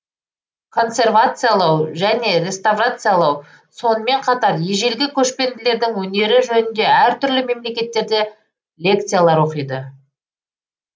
консервациялау және реставрациялау сонымен қатар ежелгі көшпенділердің өнері жөнінде әртүрлі мемлекеттерде лекциялар оқиды